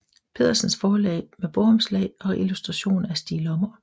Pedersens Forlag med bogomslag og illustrationer af Stig Lommer